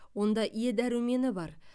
онда е дәрумені бар